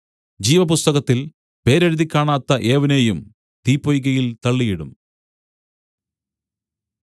ജീവപുസ്തകത്തിൽ പേരെഴുതിക്കാണാത്ത ഏവനെയും തീപ്പൊയ്കയിൽ തള്ളിയിടും